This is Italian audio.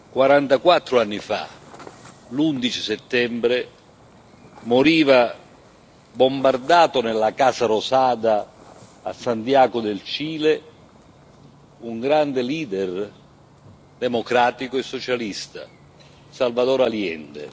44 anni fa, l'11 settembre, moriva bombardato, nella Casa Rosada, a Santiago del Cile, un grande leader democratico e socialista Salvador Allende.